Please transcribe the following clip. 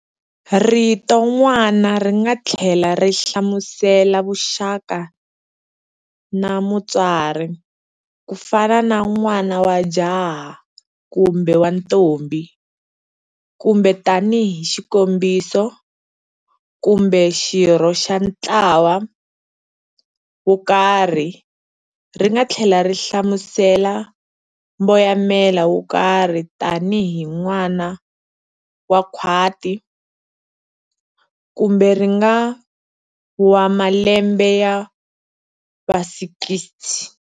"Rito n'wana ringa thlela ri hlamusela vuxaka na mutswari", kufana na n'wana wa jaha kumbe wa ntombhi, kumbe tani hi xikombiso, kumbe xirho xa ntlawa wokarhi, ringa thlela ri hlamusela mboyamela wokarhi tani hi n'wana wa khwati, kumbe n'wana wa malembe ya va 60.